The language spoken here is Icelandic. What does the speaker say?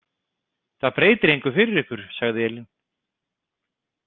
Það breytir engu fyrir ykkur, sagði Elín.